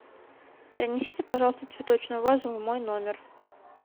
принесите пожалуйста цветочную вазу в мой номер